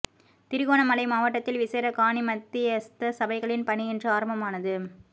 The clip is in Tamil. திருகோணமலை மாவட்டத்தில் விசேட காணி மத்தியஸ்த சபைகளின் பணி இன்று ஆரம்பமானது